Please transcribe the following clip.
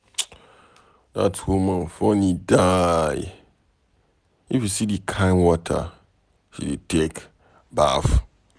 Dat woman funny die. If you see the kin water she dey take baff.